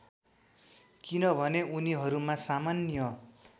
किनभने उनीहरूमा सामान्य